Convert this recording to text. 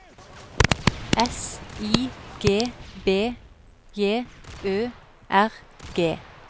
S I G B J Ø R G